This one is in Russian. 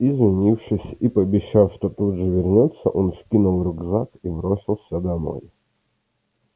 извинившись и пообещав что тут же вернётся он скинул рюкзак и бросился домой